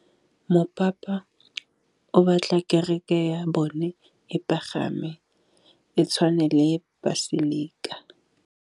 Mopapa o batla kereke ya bone e pagame, e tshwane le paselika.